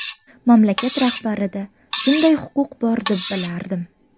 Mamlakat rahbarida shunday huquq bor deb bilardim.